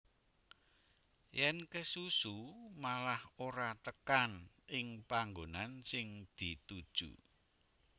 Yèn kesusu malah ora tekan ing panggonan sing dituju